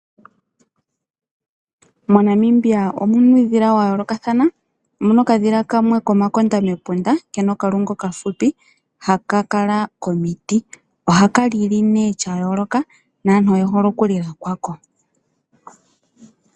Mo Namibia omuna uudhila wa yoolokathana. Omuna okadhila kamwe mena omakonda mepunda kena okalungu okafupi haka kala miiti. Ohaka lili nee sha yooloka naantu oye hole okulila kwako.